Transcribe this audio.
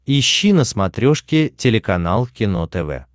ищи на смотрешке телеканал кино тв